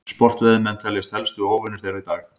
sportveiðimenn teljast helstu óvinir þeirra í dag